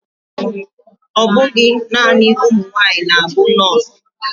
Ọbụghị naanị ụmụnwaanyị na-bụ nurse